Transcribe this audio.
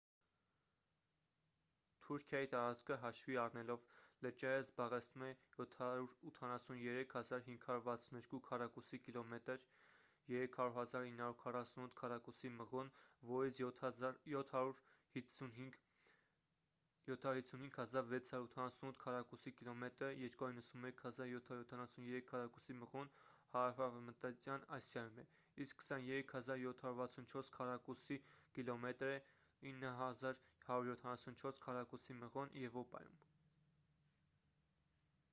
թուրքիայի տարածքը հաշվի առնելով լճերը զբաղեցնում է 783 562 քառակուսի կիլոմետր 300 948 քառակուսի մղոն որից 755 688 քառակուսի կիլոմետրը 291 773 քառակուսի մղոն հարավարևմտյան ասիայում է իսկ 23 764 քառակուսի կիլոմետրը 9 174 քառակուսի մղոն` եվրոպայում: